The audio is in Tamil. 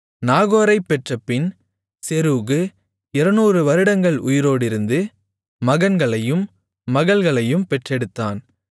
நாகோரைப் பெற்றபின் செரூகு 200 வருடங்கள் உயிரோடிருந்து மகன்களையும் மகள்களையும் பெற்றெடுத்தான்